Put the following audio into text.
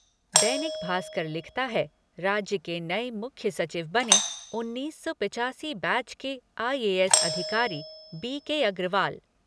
दैनिक भास्कर लिखता है राज्य के नए मुख्य सचिव बने उन्नीस सौ पचासी बैच के आई ए एस अधिकारी बी के अग्रवाल।